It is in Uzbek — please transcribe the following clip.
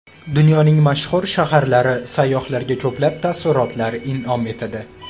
Dunyoning mashhur shaharlari sayyohlarga ko‘plab taassurotlar in’om etadi.